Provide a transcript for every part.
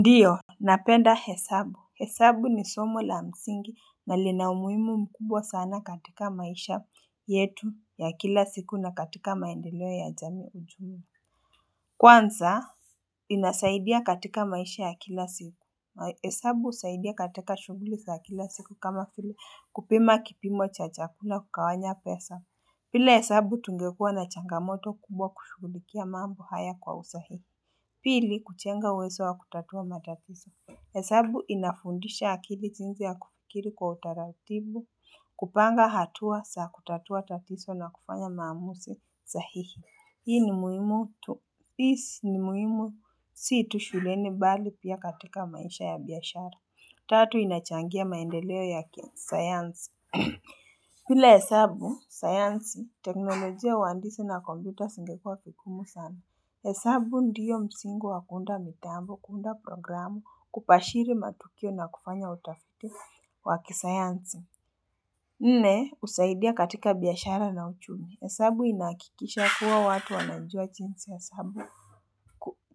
Ndiyo napenda hesabu hesabu ni somo la msingi na lina umuhimu mkubwa sana katika maisha yetu ya kila siku na katika maendeleo ya jamii ujumla kwanza inasaidia katika maisha ya kila siku hesabu husaidia katika shughuli za kila siku kama vile kupima kipimo cha chakula kugawanya pesa bila hesabu tungekua na changamoto kubwa kushugulikia mambo haya kwa usahihi pili kujenga uwezo wa kutatua matatizo hesabu inafundisha akili jinzi ya kufikiri kwa utaratibu kupanga hatua za kutatua tatizo na kufanya maamuzi sahihi Hii ni muhimu tu si tu shuleni bali pia katika maisha ya biashara Tatu inachangia maendeleo ya kisayansi bila hesabu, sayansi, teknolojia uandisi na kompyuta zingekuwa vikumu sana hesabu ndiyo msingi wa kuunda mitambo, kuunda programu, kupashiri matukio na kufanya utafiti wa kisayansi. Nne, husaidia katika biashara na uchumi. Hesabu inahakikisha kuwa watu wanajua jinsi hesabu.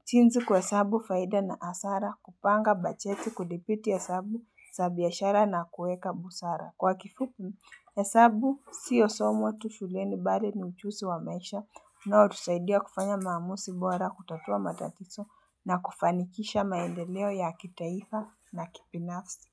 Jinzi kuhesabu faida na hasara, kupanga bacheti, kudhibiti hesabu, za biashara na kueka busara. Kwa kifupi, hesabu siyo somo tu shuleni bali ni ujuzi wa maisha unaotusaidia kufanya maamuzi bora kutatua matatiso na kufanikisha maendeleo ya kitaifa na kibinafsi.